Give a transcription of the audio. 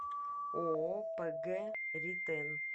ооо пг ритэн